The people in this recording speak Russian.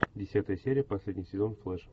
десятая серия последний сезон флэш